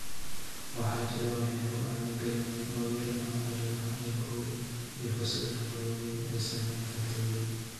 Waxaa jira waxyaabo aan la garanayn oo yar ama arrimaha ilkuhu, iyo fursadaha waaweyn ee saamaynta togan.